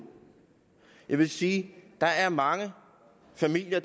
jeg vil sige at der er mange familier